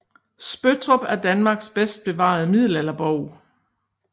Spøttrup er Danmarks bedst bevarede middelalderborg